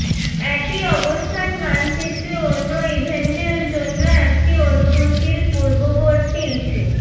একই অবস্থান মানচিত্রে অন্য ইভেন্টের জন্য একটি অনুমতির পূর্ববর্তী ইস্যু